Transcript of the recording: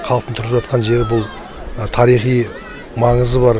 халықтың тұрып жатқан жері бұл тарихи маңызы бар